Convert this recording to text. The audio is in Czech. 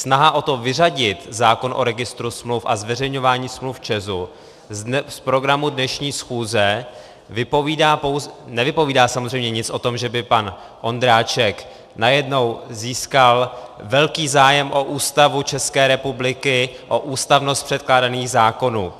Snaha o to vyřadit zákon o registru smluv a zveřejňování smluv ČEZu z programu dnešní schůze nevypovídá samozřejmě nic o tom, že by pan Ondráček najednou získal velký zájem o Ústavu České republiky, o ústavnost předkládaných zákonů.